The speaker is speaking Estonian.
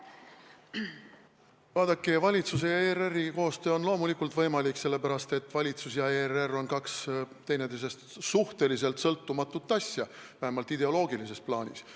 Vaadake, valitsuse ja ERR-i koostöö on loomulikult võimalik, sest valitsus ja ERR on kaks teineteisest suhteliselt sõltumatut asja, vähemalt ideoloogilises plaanis.